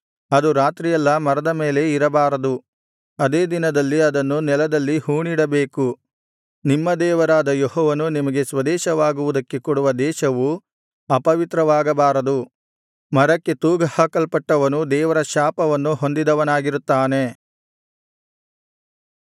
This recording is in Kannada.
ಅದು ರಾತ್ರಿಯೆಲ್ಲಾ ಮರದ ಮೇಲೆ ಇರಬಾರದು ಅದೇ ದಿನದಲ್ಲಿ ಅದನ್ನು ನೆಲದಲ್ಲಿ ಹೂಣಿಡಬೇಕು ನಿಮ್ಮ ದೇವರಾದ ಯೆಹೋವನು ನಿಮಗೆ ಸ್ವದೇಶವಾಗುವುದಕ್ಕೆ ಕೊಡುವ ದೇಶವು ಅಪವಿತ್ರವಾಗಬಾರದು ಮರಕ್ಕೆ ತೂಗಹಾಕಲ್ಪಟ್ಟವನು ದೇವರ ಶಾಪವನ್ನು ಹೊಂದಿದವನಾಗಿರುತ್ತಾನೆ